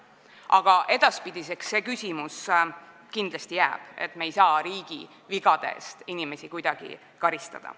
Nii et edaspidiseks jääb kindlasti üles see küsimus, et me ei saa riigi vigade eest kuidagi inimesi karistada.